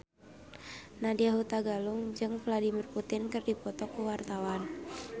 Nadya Hutagalung jeung Vladimir Putin keur dipoto ku wartawan